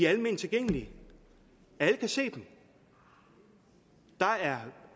alment tilgængelige alle kan se dem der er